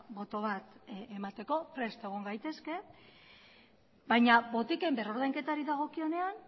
boto bat emateko prest egon gaitezke baina botiken berrordainketari dagokionean